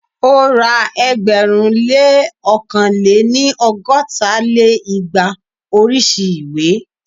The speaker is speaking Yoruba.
ó ra ẹgbẹ̀rún lé ókàn lé-ní- ọgọ́ta lé igba oríṣi ìwé